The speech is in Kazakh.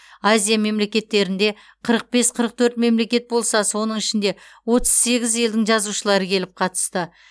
азия мемлекеттерінде қырық бес қырық төрт мемлекет болса соның ішінде отыз сегіз елдің жазушылары келіп қатысты